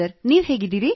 ನೀವು ಹೇಗಿದ್ದೀರಿ